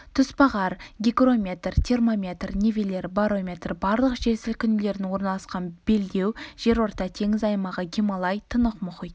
тұсбағар гигрометр термометр нивелир барометр барлық жер сілкінулердің орналасқан белдеу жерорта теңізі аймағы гималай тынық мұхит